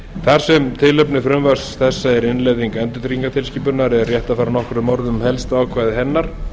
þar sem tilefni frumvarps þessa er innleiðing endurtryggingatilskipunarinnar er rétt að fara nokkrum orðum um helstu ákvæði hennar